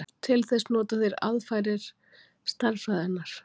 Til þess nota þeir aðferðir stærðfræðinnar.